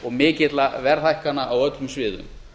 og mikilla verðhækkana á öllum sviðum